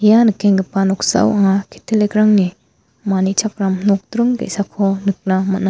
ia nikenggipa noksao anga catholic-rangni manichakram nokdring ge·sako nikna man·a.